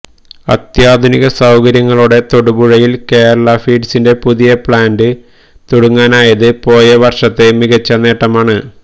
അത്യാധുനിക സൌകര്യങ്ങളോടെ തൊടുപുഴയിൽ കേരള ഫീഡ്സിന്റെ പുതിയ പ്ലാന്റ് തുടങ്ങാനായത് പോയ വർഷത്തെ മികച്ച നേട്ടമാണ്